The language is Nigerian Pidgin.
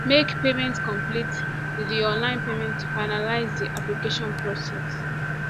make payment complete di di online payment to finalize di application process